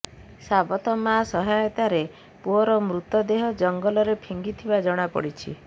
ସାବତ ମାଆ ସହାୟତାରେ ପୁଅର ମୃତଦେହ ଜଙ୍ଗଲରେ ଫିଙ୍ଗିଥିବା ଜଣାପଡ଼ିଛି